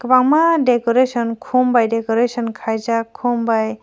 kwbangma decoration khum by decoration kai jak khum by.